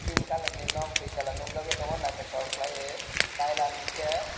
pink colour ni nog dui tala nogjagoi tongo o naitotok kelai tailam hing ke.